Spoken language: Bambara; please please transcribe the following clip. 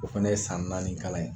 O fana ye san naani kalan ye.